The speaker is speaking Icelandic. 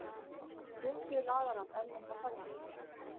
Gosið laðar að erlenda ferðamenn